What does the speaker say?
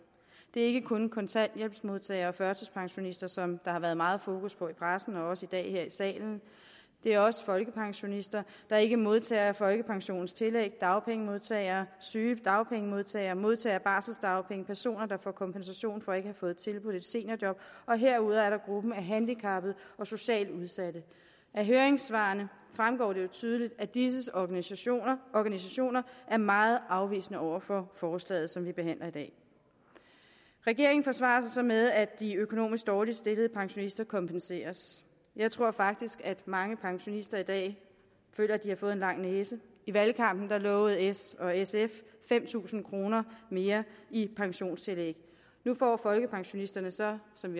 det er ikke kun kontanthjælpsmodtagere og førtidspensionister som der har været meget fokus på i pressen og også i dag her i salen det er også folkepensionister der ikke modtager folkepensionens tillæg dagpengemodtagere sygedagpengemodtagere modtagere af barseldagpenge og personer der får kompensation for ikke at have fået tilbudt et seniorjob og herudover er der gruppen af handicappede og socialt udsatte af høringssvarene fremgår det jo tydeligt at disses organisationer organisationer er meget afvisende over for forslaget som vi behandler i dag regeringen forsvarer sig så med at de økonomisk dårligt stillede pensionister kompenseres jeg tror faktisk at mange pensionister i dag føler at de har fået en lang næse i valgkampen lovede s og sf fem tusind kroner mere i pensionstillæg nu får folkepensionisterne så som